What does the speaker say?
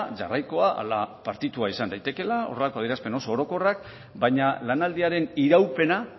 jarraikoa ala partitua izan daitekeela horrelako adierazpen oso orokorrak baina lanaldiaren iraupena